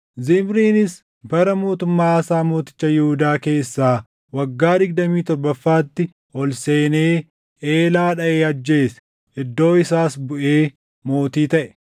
Zimriinis bara mootummaa Aasaa mooticha Yihuudaa keessaa waggaa digdamii torbaffaatti ol seenee Eelaa dhaʼee ajjeese. Iddoo isaas buʼee mootii taʼe.